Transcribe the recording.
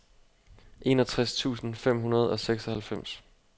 enogtres tusind fem hundrede og seksoghalvfems